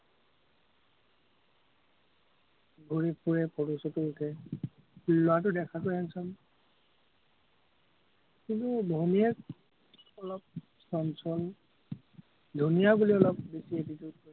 ঘুৰি ফুৰে photo চটো উঠে, ল'ৰাটো দেখাতো handsome কিন্তু, ভনীয়েক অলপ চঞ্চল, ধুনীয়া বুলি অলপ বেছি